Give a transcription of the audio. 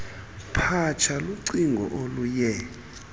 phatsha lucingo oluye